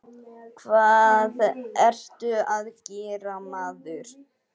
Hvað ertu að gera, maður?